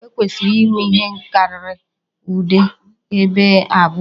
E kwesịrị inwe ihe karịrị ụdị Ébè abụọ